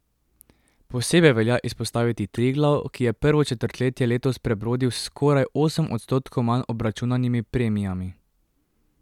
Posebej velja izpostaviti Triglav, ki je prvo četrtletje letos prebrodil s skoraj osem odstotkov manj obračunanimi premijami.